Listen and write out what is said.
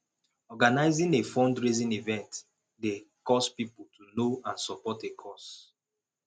organizing a fundraising event dey cause pipo to know and support a cause